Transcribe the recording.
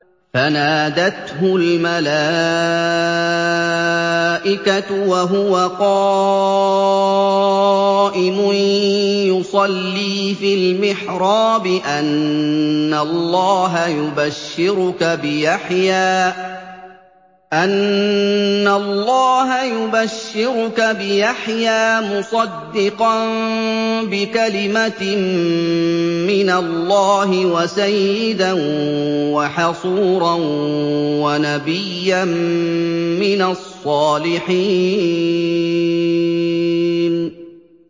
فَنَادَتْهُ الْمَلَائِكَةُ وَهُوَ قَائِمٌ يُصَلِّي فِي الْمِحْرَابِ أَنَّ اللَّهَ يُبَشِّرُكَ بِيَحْيَىٰ مُصَدِّقًا بِكَلِمَةٍ مِّنَ اللَّهِ وَسَيِّدًا وَحَصُورًا وَنَبِيًّا مِّنَ الصَّالِحِينَ